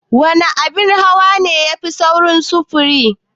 Wana abin hawa ne yafi saurin sufuri?